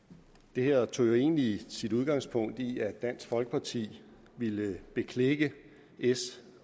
det her tog jo egentlig sit udgangspunkt i at dansk folkeparti ville beklikke s